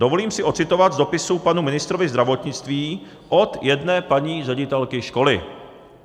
Dovolím si ocitovat z dopisu panu ministrovi zdravotnictví od jedné paní ředitelky školy.